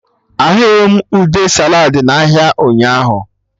Ahụghị m ude saladị na ahịa ụnyaahụ